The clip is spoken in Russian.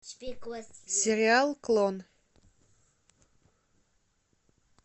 сериал клон